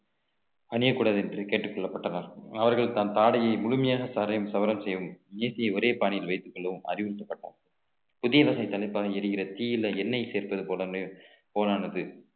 அணியக்கூடாது என்று கேட்டுக் கொள்ளப்பட்டனர் அவர்கள் தான் ஆடையை முழுமையாக சவரம் செய்யும் இயற்றிய ஒரே பாணியில் வைத்துக் கொள்ளவும் அறிவுறுத்தப்பட்டார் புதிய வகை தலைப்பாகை எரிகிற தீயில எண்ணெய் சேர்ப்பது போல~ போலானது